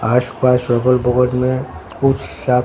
आस पास अगल बगल में बहुत सा--